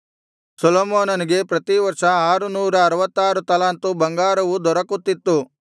ಸೊಲೊಮೋನನಿಗೆ ಪ್ರತಿ ವರ್ಷ ಆರು ನೂರಅರವತ್ತಾರು ತಲಾಂತು ಬಂಗಾರವು ದೊರಕುತ್ತಿತ್ತು